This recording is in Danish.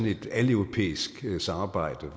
et aleuropæisk samarbejde